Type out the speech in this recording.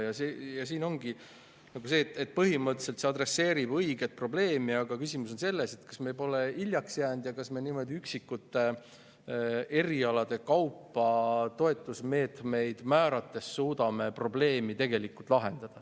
Põhimõtteliselt see adresseerib õiget probleemi, aga küsimus on selles, kas me pole hiljaks jäänud ja kas me niimoodi üksikute erialade kaupa toetusmeetmeid määrates suudame probleemi tegelikult lahendada.